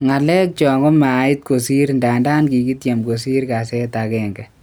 Ngalek cho komait kosir ndadan kikitiem kosir ngaset agenge.